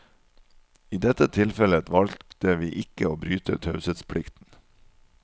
I dette tilfellet valgte vi ikke å bryte taushetsplikten.